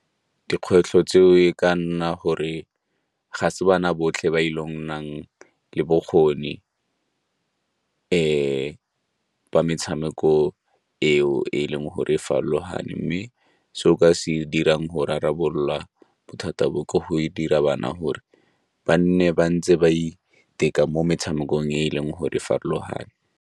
Dikgwetlho tseo e ka nna gore ga se bana botlhe ba ile nnang le bokgoni ba metshameko eo e le go re farologane, mme se o ka se dirang go rarabololwa bothata bo ke go e dira bana gore ba nne ba ntse ba iteka mo metshamekong e leng gore e farologane.